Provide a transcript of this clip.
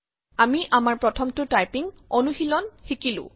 আমি আমাৰ প্ৰথমটো টাইপিং অনুশীলন শিকিলো